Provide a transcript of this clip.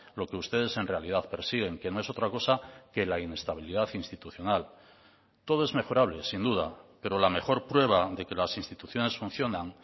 lo que ustedes en realidad persiguen que no es otra cosa que la inestabilidad institucional todo es mejorable sin duda pero la mejor prueba de que las instituciones funcionan